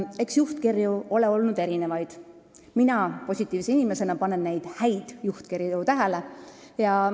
Eks juhtkirju ole olnud erinevaid, mina positiivse inimesena panen just neid häid juhtkirju tähele.